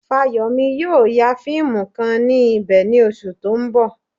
Fáyọ̀mí yóò ya fíìmù kan ní ibẹ̀ ní oṣù tó ń bọ̀.